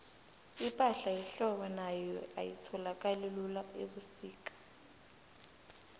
ipahla yehlobo nayo ayitholakali lula ubusika